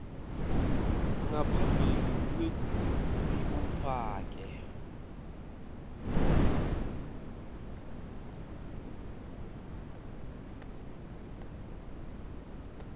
ngaphambi kwekutsi ufake